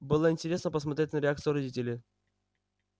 было интересно посмотреть на реакцию родителей